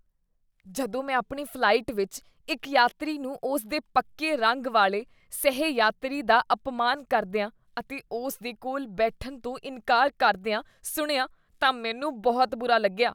ਜਦੋਂ ਮੈਂ ਆਪਣੀ ਫ਼ਲਾਈਟ ਵਿੱਚ ਇੱਕ ਯਾਤਰੀ ਨੂੰ ਉਸ ਦੇ ਪੱਕੇ ਰੰਗ ਵਾਲੇ ਸਹਿ ਯਾਤਰੀ ਦਾ ਅਪਮਾਨ ਕਰਦੀਆਂ ਅਤੇ ਉਸ ਦੇ ਕੋਲ ਬੈਠਣ ਤੋਂ ਇਨਕਾਰ ਕਰਦੀਆਂ ਸੁਣਿਆ ਤਾਂ ਮੈਨੂੰ ਬਹੁਤ ਬੁਰਾ ਲੱਗਿਆ